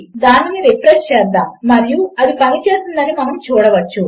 దానిని రిఫ్రెష్ చేద్దాము మరియు అది పనిచేసిందని మనము చూడవచ్చు